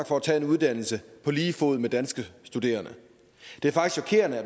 for at tage en uddannelse på lige fod med danske studerende det